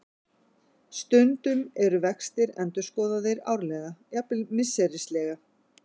Stundum eru vextir endurskoðaðir árlega, jafnvel misserislega.